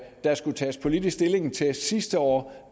der skulle tages politisk stilling til sidste år